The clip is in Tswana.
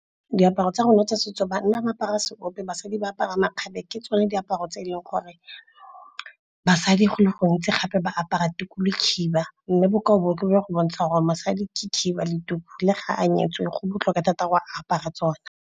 Diaparo tsa rona kgotsa setso banna ba apara seope, basadi ba apara makgabe. Ke tsone diaparo tse eleng gore basadi go le gontsi gape ba apara tuku le khiba. Mme bokao bo ke tlo go bontshang gore basadi ke khiba le tuku le ga a nyetswe go botlhokwa thata gore a apara tsone.